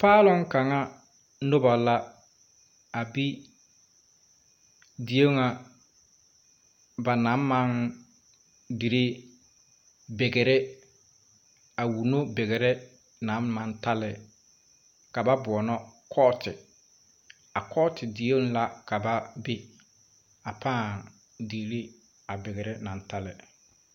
Paalong kanga nuba la a be die nga ba nang mang diree bigri a wulo bigri nang mang tale kaba boɔnɔ koɔti a koɔti deɛ la ka ba be a paa diree a bigre nang ta le.